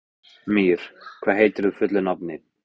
Mír, hvað heitir þú fullu nafni?